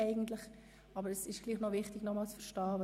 Es ist doch wichtig, den Inhalt richtig zu verstehen.